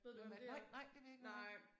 Hvem er det nej nej det ved jeg ikke hvem er